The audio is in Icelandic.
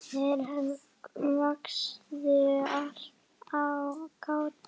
Þeir hváðu: Gati?